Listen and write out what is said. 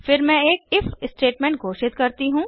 फिर मैं एक इफ स्टेटमेंट घोषित करती हूँ